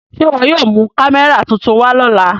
Ṣe iwọ yóò mu kamẹra tuntun wa lọla?